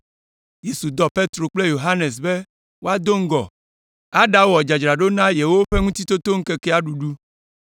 Yesu dɔ Petro kple Yohanes be woado ŋgɔ aɖawɔ dzadzraɖo na yewoƒe Ŋutitotoŋkekea ɖuɖu.